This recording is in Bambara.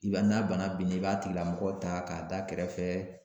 I b'a n'a bana binnen i b'a tigila mɔgɔ ta k'a da kɛrɛfɛ